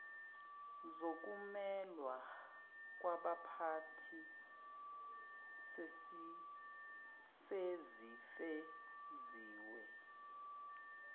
zokumelwa kwabaphathi sezifeziwe